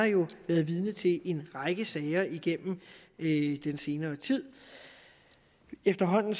været vidne til en række sager i i den senere tid efterhånden